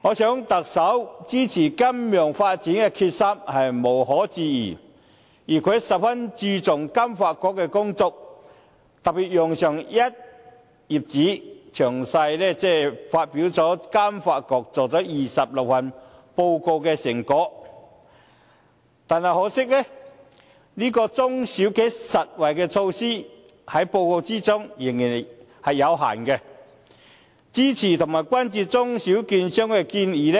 我想特首支持金融發展的決心是無容置疑的，而他也十分注重香港金融發展局的工作，特別用上一頁紙，詳細發表金發局做了26份報告的成果，但可惜的是在報告中，中小企實惠的措施仍是有限，支持和關注中小券商的建議